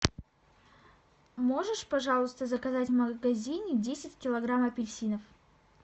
можешь пожалуйста заказать в магазине десять килограмм апельсинов